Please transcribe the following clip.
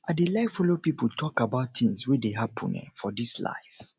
i dey like folo pipo tok about tins wey dey happen um for dis life